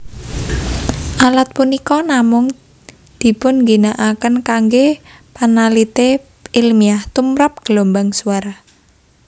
Alat punika namung dipunginakaken kanggé panalitè ilmiah tumrap gelombang suara